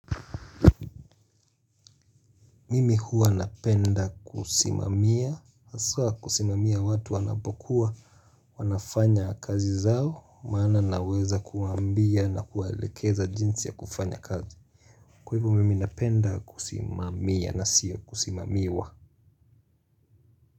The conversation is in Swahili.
Mimi huwa napenda kusimamia, haswa kusimamia watu wanapokuwa, wanafanya kazi zao, maana naweza kuwaambia na kuwaelekeza jinsi ya kufanya kazi. Kwa hivyo mimi napenda kusimamia na sio kusimamiwa.